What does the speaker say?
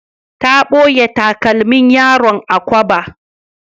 Ta ɓoye takalmin yaron a kwaba.